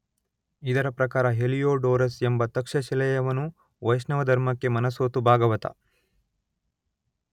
ಇದರ ಪ್ರಕಾರ ಹೆಲಿಯೋಡೋರಸ್ ಎಂಬ ತಕ್ಷಶಿಲೆಯ ಯವನನು ವೈಷ್ಣವ ಧರ್ಮಕ್ಕೆ ಮನಸೋತು ಭಾಗವತ